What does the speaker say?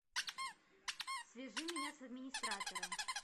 свяжи меня с администратором